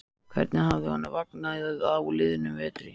Hvernig hafði honum vegnað á liðnum vetri?